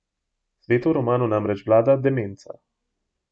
Svetu v romanu namreč vlada demenca.